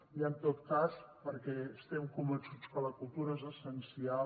i en tot cas perquè estem convençuts que la cultura és essencial